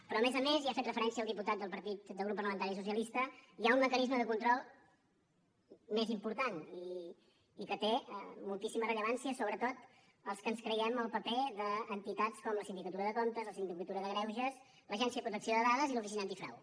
però a més a més hi ha fet referència el diputat del grup parlamentari socialista hi ha un mecanisme de control més important i que té moltíssima rellevància sobretot per als que ens creiem el paper d’entitats com la sindicatura de comptes el síndic de greuges l’agència de protecció de dades i l’oficina antifrau